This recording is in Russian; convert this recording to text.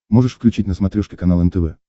можешь включить на смотрешке канал нтв